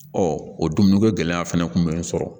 o dumuni ko gɛlɛya fɛnɛ kun bɛ n sɔrɔ